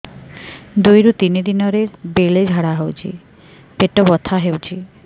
ଦୁଇରୁ ତିନି ଦିନରେ ବେଳେ ଝାଡ଼ା ହେଉଛି ପେଟ ବଥା ହେଉଛି